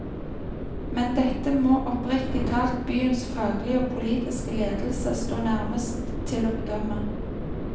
Men dette må oppriktig talt byens faglige og politiske ledelse stå nærmest til å bedømme.